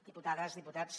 diputades diputats